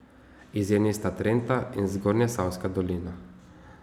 Izjemi sta Trenta in Zgornjesavska dolina.